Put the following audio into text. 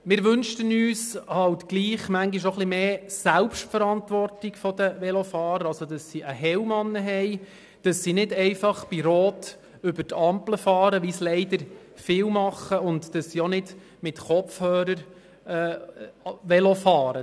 Wir wünschten uns halt auch ein wenig mehr Selbstverantwortung vonseiten der Velofahrer, dahingehend, dass sie einen Helm tragen, nicht einfach bei Rot über die Ampel fahren, wie es leider viele tun und auch nicht mit Kopfhörer Velo fahren.